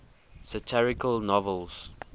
satirical novels